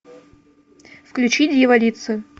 включи дьяволицы